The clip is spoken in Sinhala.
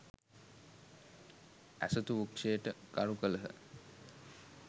ඇසතු වෘක්ෂයට ගරු කළහ.